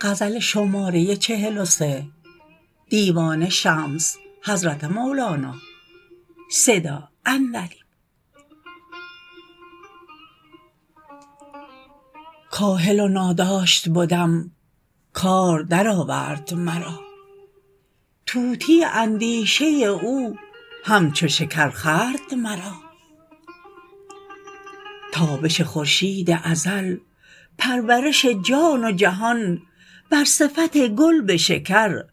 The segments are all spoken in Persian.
کاهل و ناداشت بدم کام درآورد مرا طوطی اندیشه او همچو شکر خورد مرا تابش خورشید ازل پرورش جان و جهان بر صفت گل به شکر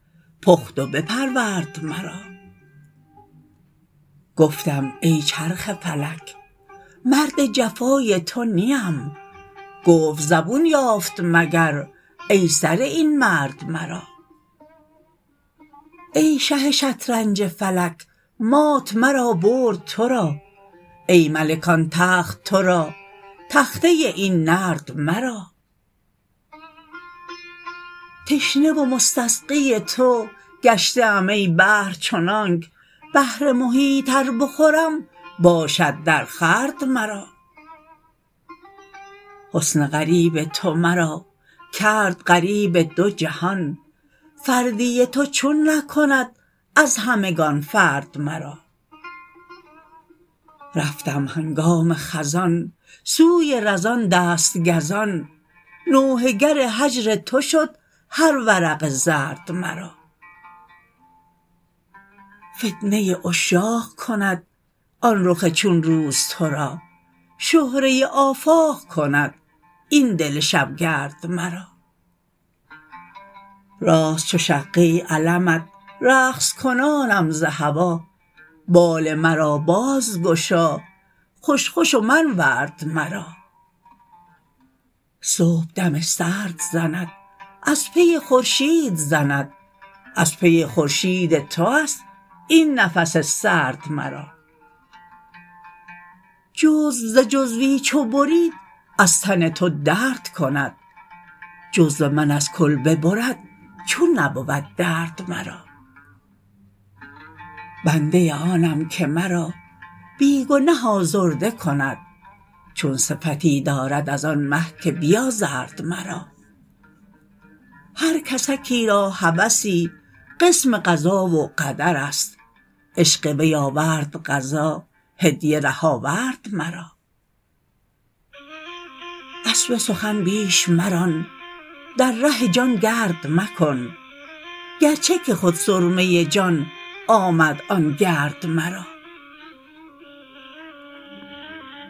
پخت و بپرورد مرا گفتم ای چرخ فلک مرد جفای تو نیم گفت زبون یافت مگر ای سره این مرد مرا ای شه شطرنج فلک مات مرا برد تو را ای ملک آن تخت تو را تخته این نرد مرا تشنه و مستسقی تو گشته ام ای بحر چنانک بحر محیط ار بخورم باشد درخورد مرا حسن غریب تو مرا کرد غریب دو جهان فردی تو چون نکند از همگان فرد مرا رفتم هنگام خزان سوی رزان دست گزان نوحه گر هجر تو شد هر ورق زرد مرا فتنه عشاق کند آن رخ چون روز تو را شهره آفاق کند این دل شبگرد مرا راست چو شقه علمت رقص کنانم ز هوا بال مرا بازگشا خوش خوش و منورد مرا صبح دم سرد زند از پی خورشید زند از پی خورشید تو است این نفس سرد مرا جزو ز جزوی چو برید از تن تو درد کند جزو من از کل ببرد چون نبود درد مرا بنده آنم که مرا بی گنه آزرده کند چون صفتی دارد از آن مه که بیازرد مرا هر کسکی را هوسی قسم قضا و قدر است عشق وی آورد قضا هدیه ره آورد مرا اسب سخن بیش مران در ره جان گرد مکن گرچه که خود سرمه جان آمد آن گرد مرا